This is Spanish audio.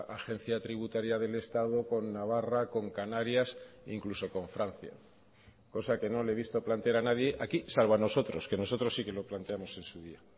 agencia tributaria del estado con navarra con canarias incluso con francia cosa que no le he visto plantear a nadie aquí salvo a nosotros que nosotros sí que lo planteamos en su día